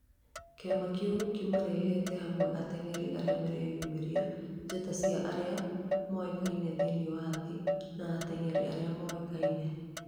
kĩama kĩu kĩmarehete hamwe ateng'eri aria mareyũmĩria, njata cia aria moĩkaine thĩinĩ wa thĩ, na ateng'eri arĩa mũĩkaine